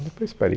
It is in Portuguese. depois parei.